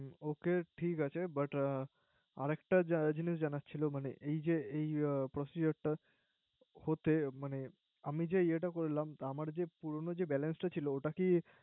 ওকে ঠিক আছে। But আর একটা জিনিস জানার ছিল মানে এই যে এই Procedure টা যে পুরানো Balance টা ছিল ওটা কি